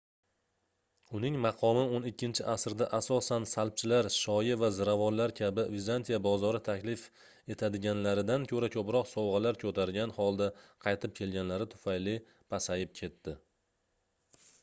uning maqomi oʻn ikkinchi asrda asosan salbchilar shoyi va ziravorlar kabi vizantiya bozori taklif etadiganlaridan koʻra koʻproq sovgʻalar koʻtargan holda qaytib kelganlari tufayli pasayib ketdi